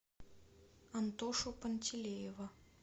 антошу пантелеева